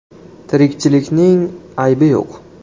Tirikchilikning aybi yo‘q.